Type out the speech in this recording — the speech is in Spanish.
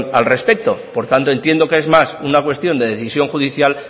al respecto por tanto entiendo que es más una cuestión de decisión judicial